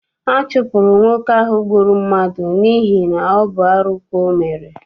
A chụpụrụ nwoke ahụ gbụrụ mmadụ n'ihi ọ bụ arụ ka ọ mere.